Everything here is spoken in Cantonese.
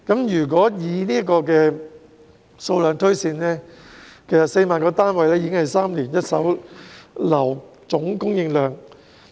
如果以這個數量推算 ，4 萬個單位已是一手樓宇3年的總供應量。